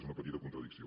és una petita contradicció